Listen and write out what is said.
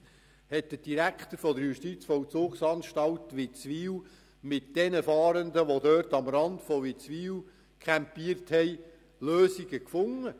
Beispielsweise hat der Direktor der Justizvollzugsanstalt Witzwil mit den Fahrenden, die am Rand von Witzwil campierten, Lösungen gefunden: